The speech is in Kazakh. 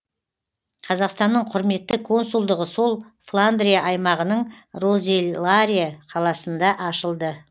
қазақстанның құрметті консулдығы сол фландрия аймағының розеларе қаласында ашылды